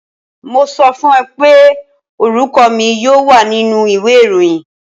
Mo sọ fún ọ pé orúkọ mi yóò wà nínú ìwé ìròyìn.